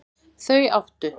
Þau áttu